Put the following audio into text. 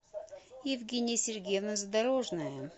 евгения сергеевна задорожная